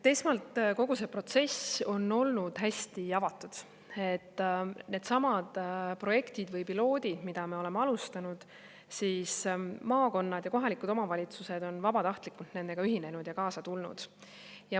Esmalt, kogu see protsess on olnud hästi avatud, nendesamade projektide või pilootidega, mida me oleme alustanud, on maakonnad ja kohalikud omavalitsused vabatahtlikult ühinenud ja kaasa tulnud.